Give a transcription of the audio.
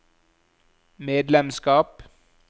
medlemskap